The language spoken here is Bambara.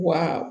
Wa